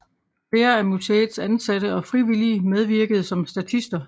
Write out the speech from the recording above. Flere af museets ansatte og frivillige medvirkede som statister